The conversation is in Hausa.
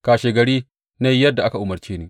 Kashegari na yi yadda aka umarce ni.